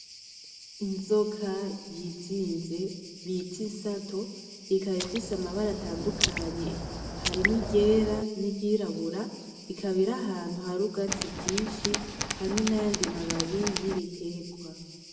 Inzoka yizinze bita insato, ikaba ifise amabara atandukanye, harimwo iryera n'iryirabura, ikaba iri ahantu hari ubwatsi bwinshi hamwe n'ayandi mababi y'ibiterwa.